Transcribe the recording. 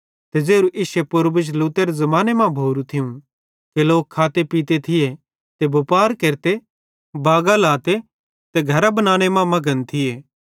ते ज़ेरू इश्शे पूर्वज लूतेरे ज़माने मां भोरू थियूं कि लोक खाते पीते थिये बुपार केरते बागां लाते ते घरां बनाने मां मघन थिये